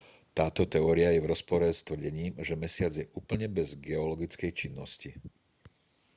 táto teória je v rozpore s tvrdením že mesiac je úplne bez geologickej činnosti